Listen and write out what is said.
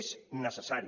és necessari